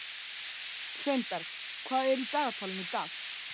Sveinberg, hvað er í dagatalinu í dag?